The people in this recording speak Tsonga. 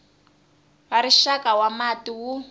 wa rixaka wa mati wu